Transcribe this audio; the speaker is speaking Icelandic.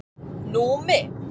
Númi